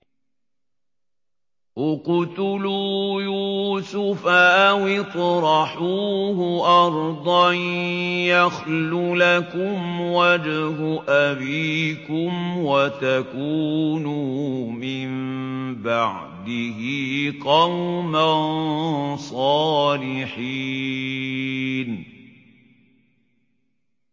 اقْتُلُوا يُوسُفَ أَوِ اطْرَحُوهُ أَرْضًا يَخْلُ لَكُمْ وَجْهُ أَبِيكُمْ وَتَكُونُوا مِن بَعْدِهِ قَوْمًا صَالِحِينَ